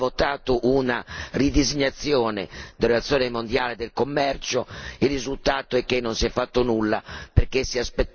Questo Parlamento, nella scorsa legislatura, aveva votato una ridisegnazione dell'Organizzazione mondiale del commercio.